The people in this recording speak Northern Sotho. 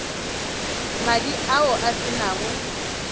madi ao a se nago